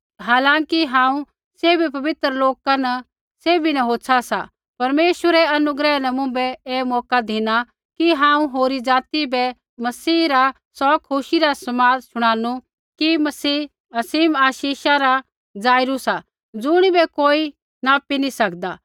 हालांकि हांऊँ सैभी पवित्र लोका न सैभी न होच्छा सा परमेश्वरै अनुग्रह न मुँभै ऐ मौका धिना कि हांऊँ होरी ज़ाति बै मसीह रा सौ खुशी रा समाद शुणानु कि मसीह असीम आशीषा रा स्रोत सा ज़ुणिबै कोई नापी नैंई सकदा